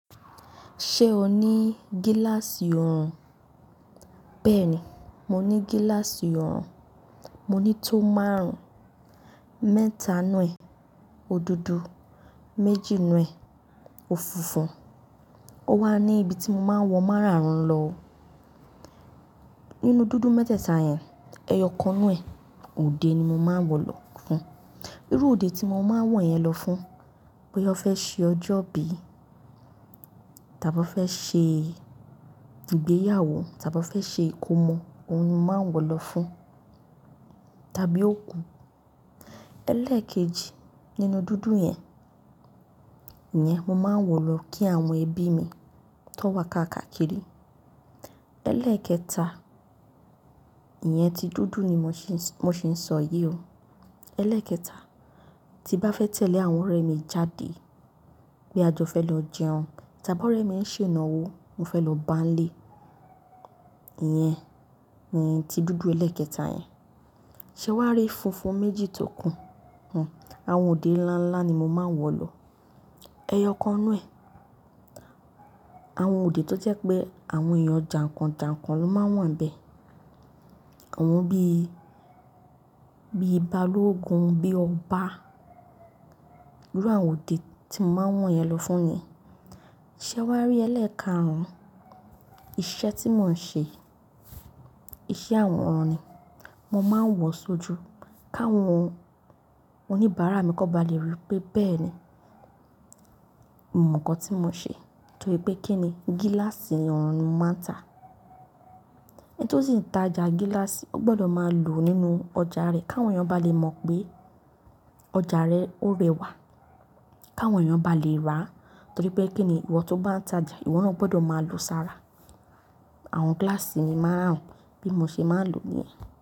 Ṣé o ní gíláàsì ọrùn? Bẹ́ẹ̀ni, mo ní gíláàsì ọrùn. Mo ní tó márùn-ún, mẹ́ta nú ẹ̀, o dudu, méjì nú ẹ̀, ò funfun Ó wà ní ibi tí mo máa ń wọ máràrùn lọ. Nínú dúdú mẹ́tẹ̀ẹ̀ta yẹn, ẹyọ kan inú ẹ̀, òde ni mo máa ń wọ̀ lọ fún. Irú òde tí mo máa ń wọ̀ yẹn lọ fún, bóyá fẹ́ ṣe ọjọ́ bíi, tàbí fẹ́ ṣe ìgbéyàwó, tàbí fẹ́ ṣe ìkómọ, òun ni mo máa ń wọ̀ lọ fún, tàbí òkú. Ẹlẹ́ẹ̀kejì nínú dúdú yẹn, ìyẹn mo máa ń wọ̀ lọ kí àwọn ẹbí mi tó wà káàkiri. Ẹlẹ́ẹ̀kẹta, ìyẹn ti dúdú ni mo sì ń sọ yí o. Ẹlẹ́ẹ̀kẹta, tí bá fẹ́ tẹ̀lé àwọn ọ̀rẹ́ mi jáde, bí àjọ fẹ́ lọ jẹun, tàbí ọ̀rẹ́ mi ń ṣe ìnáwó, mo fẹ́ lọ báńlẹ̀, ìyẹn ni ti dúdú ẹlẹ́ẹ̀kẹta yẹn. Ṣé wà á rí funfun méjì tó kún? Àwọn òde ńlá ńlá ni mo máa ń wọ̀ lọ. Ẹyọ kan inú ẹ̀, àwọn òde tó jẹ́ pé àwọn èèyàn jàǹkàn-jàǹkàn ló máa wà n bẹ̀. Àwọn bí, bíi Balógun, bíi Ọba, irú àwọn òde tí mo máa ń wọ̀n yẹn lọ fún yẹn. Ṣé wà á rí ẹlẹ́ẹ̀kaàrún? Iṣẹ́ tí mò ń ṣe, iṣẹ́ àwòrán ni. Mo máa ń wọ̀ sójú, káwọn oníbàárà mi kó ba lè rí pé bẹ́ẹ̀ni, ìmọ̀ kan tí mo ṣe. Nítorí pé kí ni gíláàsì ọrùn máa ń tà. Ẹni tó sì ń ta ja gíláàsì, ó gbọdọ̀ máa lò ó nínú ọjà rẹ, káwọn èèyàn bá lè mọ̀ pé ọjà rẹ ó rẹwà, káwọn èèyàn bá lè rà á. Nítorí pé kí ni ìwọ tó bá ń ta ja, ìwọ náà gbọdọ̀ máa lò ó sára. Àwọn gíláàsì mi márùn-ún bí mo ṣe máa ń lò níyẹn.